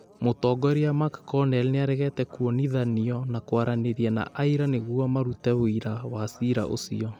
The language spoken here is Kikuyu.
Mũtongoria McConnell nĩaregete kwonithanio na kwaranĩria na aira nĩguo marute wũira wa ciira ũcio